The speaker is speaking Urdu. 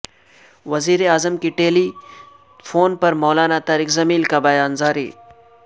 وزیراعظم کے ٹیلی تھون پر مولانا طارق جمیل کا بیان جاری